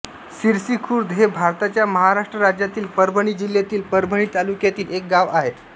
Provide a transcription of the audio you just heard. सिरसीखुर्द हे भारताच्या महाराष्ट्र राज्यातील परभणी जिल्ह्यातील परभणी तालुक्यातील एक गाव आहे